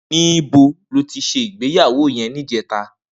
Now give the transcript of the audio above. Nibó lò ti sé igbéyàwó yèn nijètá?